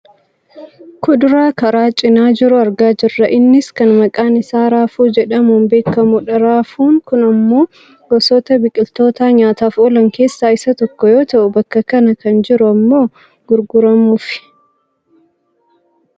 Kuduraa karaa cinaa jiru argaa jirra. Innis kan maqaan isaa raafuu jedhamuun beekkamudha. Raafuun kun ammoo gosoota biqiltoota nyaataaf oolan keessaa isa tokko yoo ta'u, bakka kana kan jiru ammoo gurguramuufi.